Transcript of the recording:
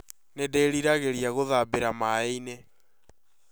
Nĩ ndĩririgĩria gũthambĩra maĩ-inĩ